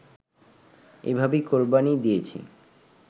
এভাবেই কোরবানি দিয়েছি